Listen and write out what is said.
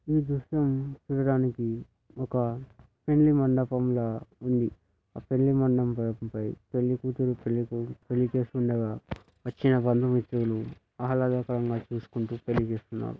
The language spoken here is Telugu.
ఈ దృశ్యాన్ని చూడడానికి ఒక పెళ్లి మండపం లా ఉందని ఆ పెళ్లి మండపం పై పెళ్లి కూతురు పెళ్లి కొడుకు పెళ్లి చేసుకుండాగా వచ్చిన బందుమిత్రులు ఆహ్లాదకరంగా చూసుకుంటూ పెళ్లి చేస్తునారు.